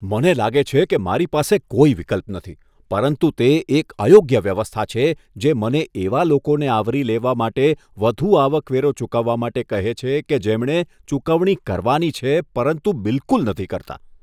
મને લાગે છે કે મારી પાસે કોઈ વિકલ્પ નથી, પરંતુ તે એક અયોગ્ય વ્યવસ્થા છે, જે મને એવા લોકોને આવરી લેવા માટે વધુ આવકવેરો ચૂકવવા માટે કહે છે, કે જેમણે ચૂકવણી કરવાની છે, પરંતુ બિલકુલ નથી કરતા.